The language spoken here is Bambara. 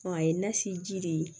a ye nasi ji de ye